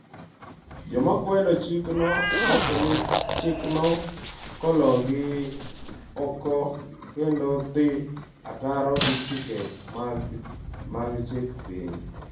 Joma kwedo chikno wacho ni chikno gologi oko kendo dhi ataro gi chike mag chik piny.